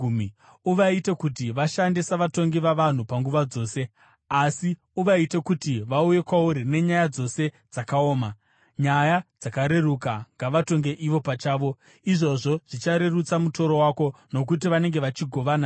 Uvaite kuti vashande savatongi vavanhu panguva dzose, asi uvaite kuti vauye kwauri nenyaya dzose dzakaoma; nyaya dzakareruka ngavatonge ivo pachavo. Izvozvo zvicharerutsa mutoro wako, nokuti vanenge vachigovana newe.